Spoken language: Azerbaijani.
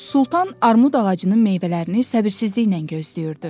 Sultan armud ağacının meyvələrini səbirsizliklə gözləyirdi.